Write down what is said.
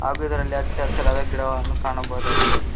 ಹಾಗು ಇದರಲ್ಲಿ ಹಚ್ಚ ಹಸಿರಾದ ಗಿಡವನ್ನು ಕಾಣಬಹುದಾಗಿದೆ.